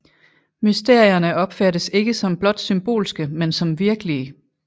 Mysterierne opfattes ikke som blot symbolske men som virkelige